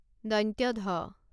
ঢ